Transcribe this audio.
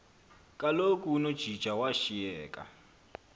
kaloku unojaji washiyeka